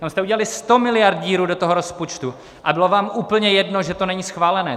Tam jste udělali 100 miliard díru do toho rozpočtu a bylo vám úplně jedno, že to není schválené.